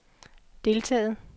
deltaget